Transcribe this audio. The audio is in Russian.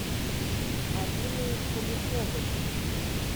алины поляковой